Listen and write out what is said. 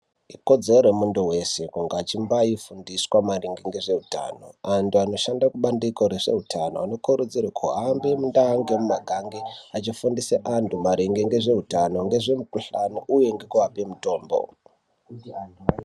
Ikodzero yemuntu weshe kunga achimbafundiswa maringe ngezveutano. Antu anoshanda kubandiko rezveutano anokurudzirwa kuhambe mundau nemumakanga achifundisa antu maringe ngezveutano ngezvemukhuhlani uye ngekuape mutombo.